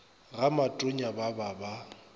ga matonya ba ba ba